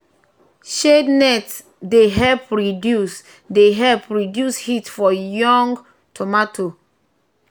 shade net dey help reduce dey help reduce heat for young tomato wey dey try survive sun wahala.